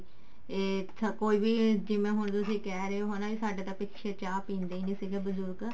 ਇਹ ਕੋਈ ਵੀ ਜਿਵੇਂ ਹੁਣ ਤੁਸੀਂ ਕਿਹ ਰਹੇ ਹੋ ਸਾਡਾ ਤਾਂ ਪਿੱਛੇ ਚਾਹ ਪੀਂਦੇ ਹੀ ਨਹੀਂ ਸੀਗੇ ਬਜੁਰਗ